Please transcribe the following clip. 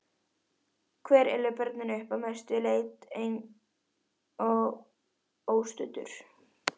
Hver elur börnin upp, að mestu leyti einn og óstuddur?